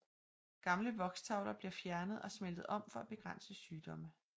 Gamle vokstavler bliver fjernet og smeltet om for at begrænse sygdomme